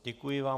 Děkuji vám.